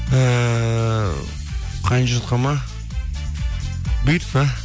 ііі қайын жұртқа ма бұйыртса